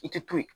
I tɛ to ye